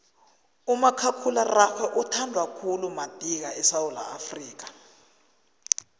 umakhakhulararhwe uthandwa khulu madika esewula afrika